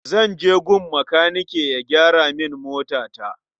Zan je gun makanike ya gyara min motata.